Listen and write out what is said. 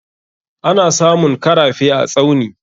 Ana samun karafe a Tsauni.